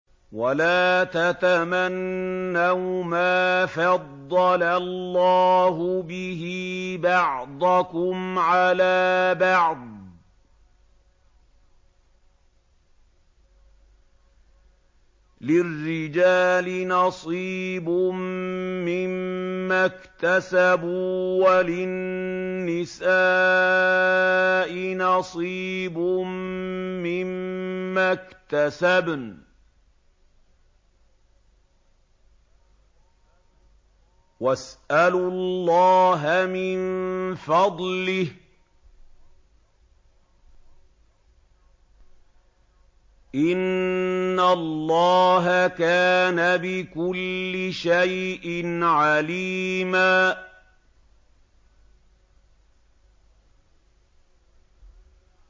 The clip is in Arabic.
وَلَا تَتَمَنَّوْا مَا فَضَّلَ اللَّهُ بِهِ بَعْضَكُمْ عَلَىٰ بَعْضٍ ۚ لِّلرِّجَالِ نَصِيبٌ مِّمَّا اكْتَسَبُوا ۖ وَلِلنِّسَاءِ نَصِيبٌ مِّمَّا اكْتَسَبْنَ ۚ وَاسْأَلُوا اللَّهَ مِن فَضْلِهِ ۗ إِنَّ اللَّهَ كَانَ بِكُلِّ شَيْءٍ عَلِيمًا